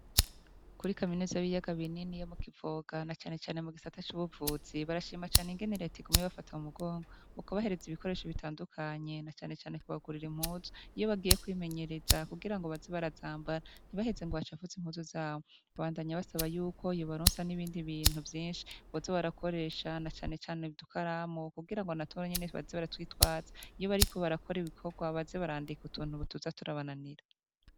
Kuri kaminuza y'ibiyaga binini yo mu Kivoga, na canecane mu gisata c'ubuvuzi, barashima cane ingene Reta iguma ibafata mu mugongo, mu kubahereza ibikoresho bitandukanye, na canecane kubagurira impuzu, iyo bagiye kwimenyereza, kugira ngo baze barazambara, ntibaheze ngo bacafuze impuzu zabo. Babandanya basaba yuko yobaronsa n'ibindi bintu vyinshi, boza barakoresha, na canecane udukaramu, kugira ngo natwo nyene baze baratwitwaza, iyo bariko barakora ibikorwa, baze barandika utuntu tuza turabananira.